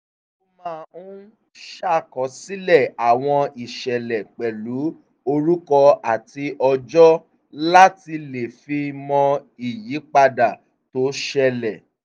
ó máa ń ṣàkọsílẹ̀ àwọn ìṣẹ̀lẹ̀ pẹ̀lú orúkọ àti ọjọ́ láti le fi mọ ìyípadà tó ṣẹlẹ̀